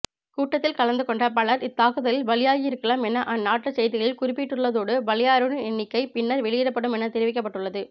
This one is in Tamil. கூட்டத்தில் கலந்துகொண்ட பலர் இத்தாக்குதலில் பலியாகியிருக்கலாம் என அந்நாட்டு செய்திகளில் குறிப்பிட்டுள்ள்ளதோடு பலியானோரின் எண்ணிக்கை பின்னர் வௌியிடப்படும் என தெரிவிக்கப்பட்டுள்ளது